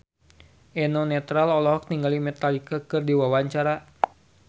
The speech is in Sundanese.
Eno Netral olohok ningali Metallica keur diwawancara